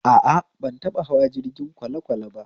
A a, ban taɓa hawa jirgin kwalekwale ba